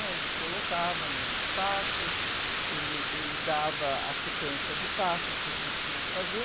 né? Ele colocava nos espaços, dava a sequência de passos que a gente tinha que fazer,